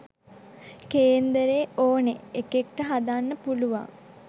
කේන්දරේ ඔනෙ එකෙක්ට හදන්න පුලුවන්